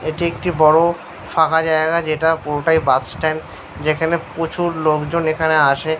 এটি একটি বড় ফাঁকা জায়গা যেটা পুরোটাই বাস স্ট্যান্ড । যেখানে প্রচুর লোকজন এখানে আসে ।